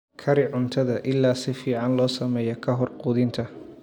Kari cuntada ilaa si fiican loo sameeyo ka hor quudinta.